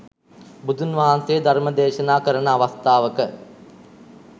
බුදුන් වහන්සේ ධර්ම දේශනා කරන අවස්ථාවක